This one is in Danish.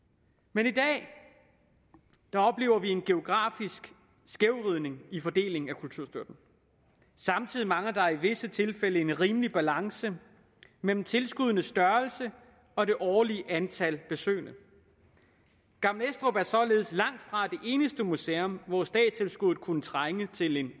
men i dag oplever vi en geografisk skævvridning i fordelingen af kulturstøtten samtidig mangler der i visse tilfælde en rimelig balance mellem tilskuddenes størrelse og det årlige antal besøgende gammel estrup er således langtfra det eneste museum hvor statstilskuddet kunne trænge til en